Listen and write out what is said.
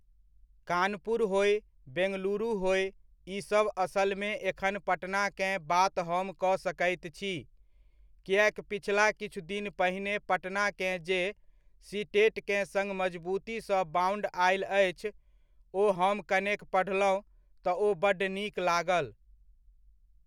कानपुर होय बेंगलुरु होय, ईसभ असलमे एखन पटनाकेँ बात हम कऽ सकैत छी, किएक पिछला किछु दिन पहिने पटनाकेँ जे सीटेटकेँ सङ्ग मजबूतीसँ बाउन्ड आयल अछि, ओ हम कनेक पढ़लहुँ तऽ ओ बड्ड नीक लागल।